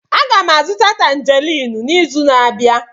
Aga m azụta Tanjerin n'izu na-abịa.